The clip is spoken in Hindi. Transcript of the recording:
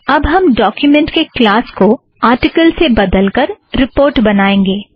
अब हम डोक्युमेंट के क्लास को आरटिकल से बदलकर रिपोर्ट बनाएंगें